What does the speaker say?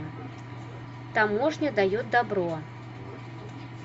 таможня дает добро